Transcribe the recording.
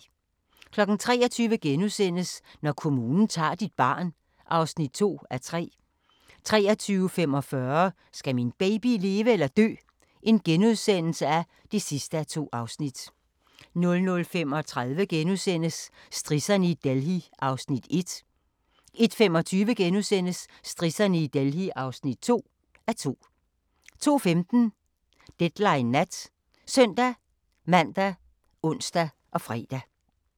23:00: Når kommunen tager dit barn (2:3)* 23:45: Skal min baby leve eller dø? (2:2)* 00:35: Strisserne i Delhi (1:2)* 01:25: Strisserne i Delhi (2:2)* 02:15: Deadline Nat ( søn-man, ons, fre)